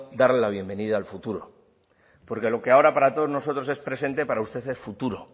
darle la bienvenida al futuro porque lo que ahora para todos nosotros es presente para usted es futuro